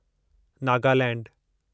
नगालैंडु